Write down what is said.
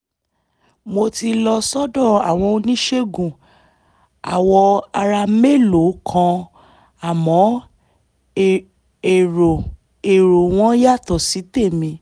mo ti lọ sọ́dọ̀ àwọn oníṣègùn awọ ara mélòó kan àmọ́ èrò èrò wọn yàtọ̀ sí tèmi